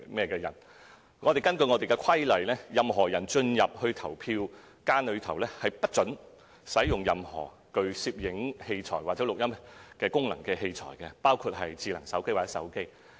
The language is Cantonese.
根據規例，任何人進入投票間後，不准使用任何具攝影或錄音功能的器材，包括智能手機或手機。